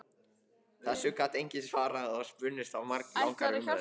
Þessu gat enginn svarað og spunnust af langar umræður.